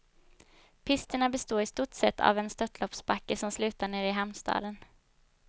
Pisterna består i stort sett av en störtloppsbacke som slutar nere i hamnstaden.